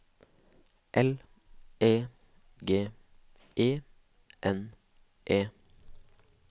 L E G E N E